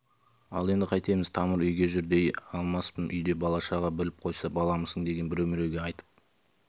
ал енді қайтеміз тамыр үйге жүр дей алмаспын үйде бала-шаға біліп қойса баламысың деген біреу-міреуге айтып